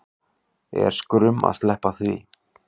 Er skrum að sleppa því